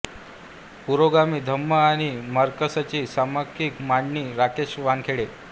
पुरोगामी धम्म आणि मार्क्सची सम्यक मांडणी राकेश वानखेडे